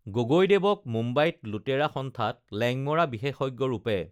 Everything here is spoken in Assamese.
গগৈদেৱক মুম্বাইত লুটেৰা সন্থাত লেঙমৰা বিশেষজ্ঞ ৰূপে